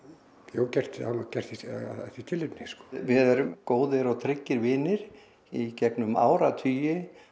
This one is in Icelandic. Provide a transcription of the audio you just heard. gert gert af því tilefni við erum góðir og tryggir vinir í gegnum áratugi